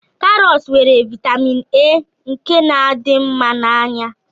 Karọt nwere vaịtamin A nke na-adị mma n'anya